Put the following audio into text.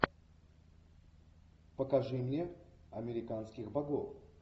покажи мне американских богов